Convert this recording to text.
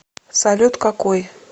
салют какой